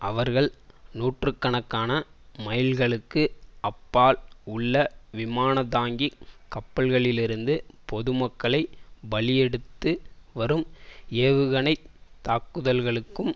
அவர்கள் நூற்று கணக்கான மைல்களுக்கு அப்பால் உள்ள விமானந்தாங்கிக் கப்பல்களிலிருந்து பொதுமக்களை பலியெடுத்து வரும் ஏவுகணை தாக்குதல்களுக்கும்